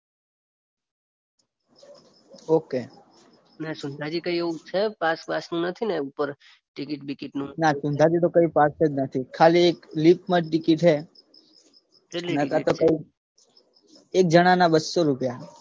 Okay Sundhaji કઈ એવું છે પાસ બાસ નથી ને ઉપર ટિકિટ બિકીટનું. ના સુંધાજી કઈ પાસ જ નથી ખાલી લિફ્ટમાં જ ટિકિટ છે કેટલા એક જણાના બસ્સો રૂપિયા ઓકે